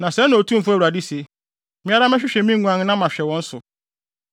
“ ‘Na sɛɛ na Otumfo Awurade se: Me ara mɛhwehwɛ me nguan na mahwɛ wɔn so.